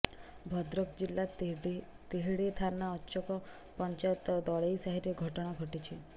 ଭଦ୍ରକ ଜିଲ୍ଲା ତିହିଡି ଥାନା ଅଚକ ପଞ୍ଚାୟତ ଦଳେଇସାହିରେ ଘଟଣା ଘଟିଛି